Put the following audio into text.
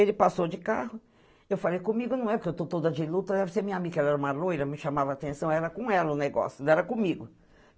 Ele passou de carro, eu falei comigo, não é que eu estou toda de luta, deve ser minha amiga, ela era uma loira, me chamava atenção, era com ela o negócio, não era comigo.